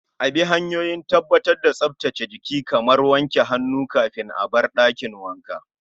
A bi hanyoyin tabbatar da tsaftar jiki kamar wanke hannuwa kafin a bar dakin wanka